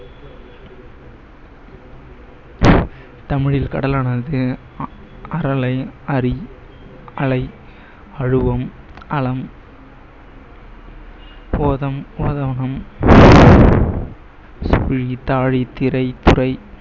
தமிழில் கடலானது அரலை, அரி, அலை, அழுவம், அளம்,